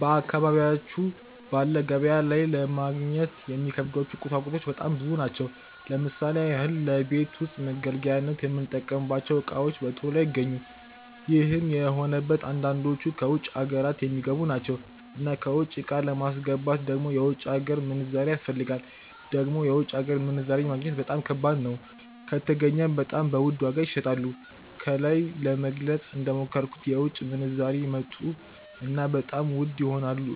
በ አካባብያቹ ባለ ገበያ ላይ ለማግኘት የሚከብዱ ቁሳቁሶች በጣም ብዙ ናቸው , ለምሳሌ ያህል ለቤት ዉስጥ መገልገያነት የምንጠከማቸው ዕቃዎች በቶሎ አይገኙም. ይህም የሆነበት አንዳንዶቹ ከ ዉጭ ሃገራት የሚገቡ ናቸው. እና ከ ዉጭ ዕቃ ለማስገባት ደግሞ የ ዉጭ ሀገር ምንዛሬ ያስፈልጋል, ደግሞ የ ዉጭ ሀገር ምንዛሬ ማግኘት በጣም ከባድ ነው። ከተገኘም በጣም በ ዉድ ዋጋ ይሸጣሉ። ከላይ ለመግለፀ እንደሞከርኩት በዉጭ ምንዛሬ ይመጡ እና በጣም ዉድ ይሆናሉ